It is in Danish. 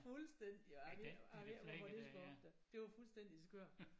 Fuldstændig og jeg ved ikke jeg ved ikke hvorfor dét skulle op da det var fuldstændig skørt